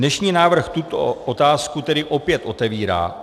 Dnešní návrh tuto otázku tedy opět otevírá.